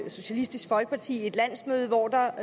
socialistisk folkeparti i landsmøde hvor der